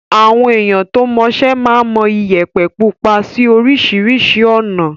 Àwọn èèyàn tó mọṣẹ́ máa ń mọ Iyẹ̀pẹ̀ pupa sí oríṣiríṣi ọ̀nà.